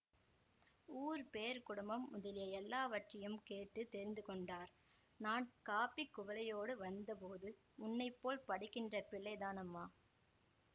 ஊர் பேர் குடும்பம் முதலிய எல்லாவற்றையும் கேட்டு தெரிந்துகொண்டார் நான் காப்பி குவளையோடு வந்தபோது உன்னை போல் படிக்கின்ற பிள்ளைதானம்மா